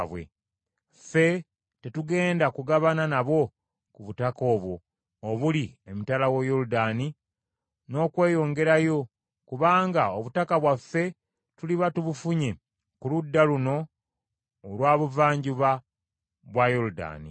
Ffe tetugenda kugabana nabo ku butaka obwo obuli emitala wa Yoludaani n’okweyongerayo; kubanga obutaka bwaffe tuliba tubufunye ku ludda luno olwa Buvanjuba bwa Yoludaani.”